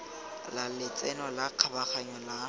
la letseno la kgabaganyo la